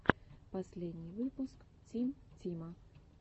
последний выпуск тим тима